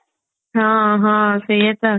ହଁ ହଁ ସେଇଆ ତ